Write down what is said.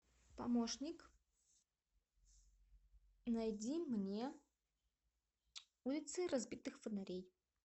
помощник найди мне улицы разбитых фонарей